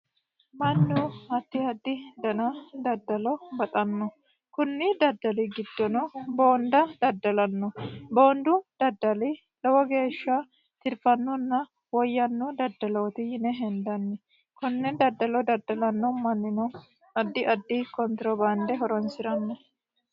mannu addi addi dani daddalo baxanno kunni daddali giddono boonda daddalanno boondu daddali lowo geeshsha tirfanninna woyyanno daddalooti yine henddanni konne daddalo daddalanno mannino addi addi kontirobaande horonsiranno